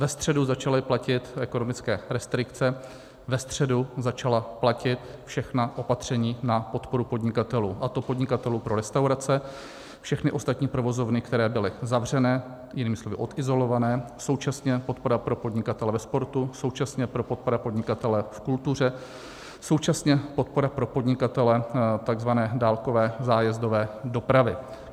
Ve středu začaly platit ekonomické restrikce, ve středu začala platit všechna opatření na podporu podnikatelů, a to podnikatelů pro restaurace, všechny ostatní provozovny, které byly zavřené, jinými slovy odizolované, současně podpora pro podnikatele ve sportu, současně podpora pro podnikatele v kultuře, současně podpora pro podnikatele tzv. dálkové zájezdové dopravy.